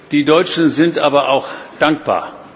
Die Deutschen sind aber auch dankbar.